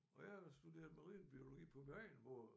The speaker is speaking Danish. Og jeg har studeret marinebiologi på min egen måde